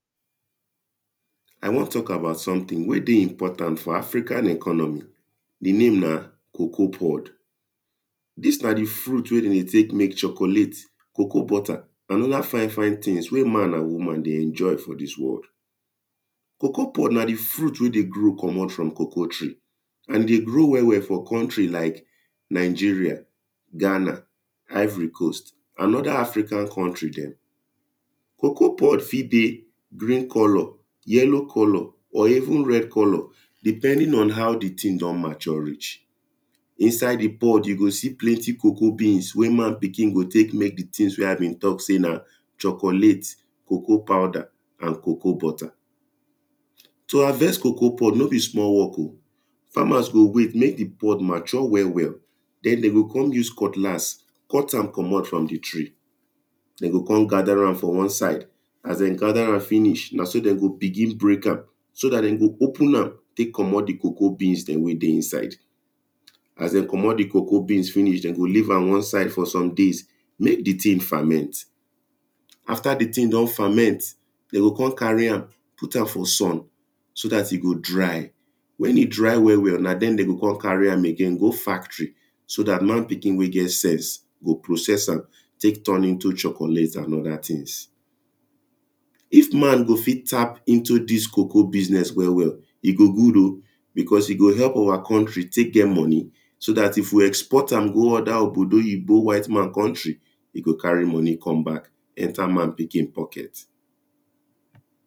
I wan talk about something wey dey important for African economy the name na cocoa pod. This na the fruit wey dem dey take make chocolate cocoa butter and other fine fine things wey man and woman dey enjoy for this world. Cocoa pod na the fruit wey dey grow commot from cocoa tree and dey grow well well for country like Nigeria, Ghana, ivory coast and other African country dem. Cocoa pod fit dey green colour yellow colour or even red colour depending on how the the thing don mature reach. Inside the pod you go see plenty cocoa beans wey man pikin go take make the things wey I bin talk say na chocolate, cocoa powder and cocoa butter To harvest cocoa pod no be small work oo, farmers go wait make the pod mature well well. Then dey go come use cutlass cut am comot from the tree dem go come gather am for one side as dem gather am finish na so dem go begin break am so that dem go open am take comot the cocoa beans dem wey dey inside as dem commot the cocoa beans finish dem go leave am one side for some days make the thing ferment after the thing don ferment dem go come carry am put am for sun so that e go dry. When e dry well well na dem dem go come carry am again go factory so that man pikin wey get sense go process am take turn into chocolate and other things if man go fit tap is to this cocoa business well well e go good o because e go help our country take get money so that if we export am go other ogbodoyibo white man country e go carry money come back enter man pikin pocket.